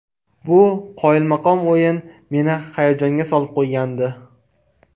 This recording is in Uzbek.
Bu qoyilmaqom o‘yin meni hayajonga solib qo‘ygandi.